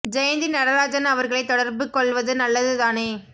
ஜெயந்தி நடராஜன் அவர்களை தொடர்ப்பு கொள்வது நல்லது தானே